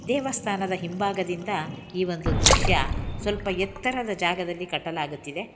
ದೇವಸ್ಥಾನದ ಹಿಂಭಾಗದಿಂದ ಈ ಒಂದು ದೃಶ್ಯ ಸ್ವಲ್ಪ ಎತ್ತರದ ಜಾಗದಲ್ಲಿ ಕಟ್ಟಲಾಗುತ್ತಿದೆ.